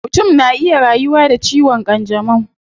Mutum na iya rayuwa da ciwon kanjamau